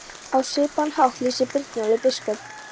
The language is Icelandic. Á svipaðan hátt lýsir Brynjólfur biskup